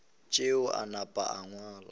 tšeo a napa a ngala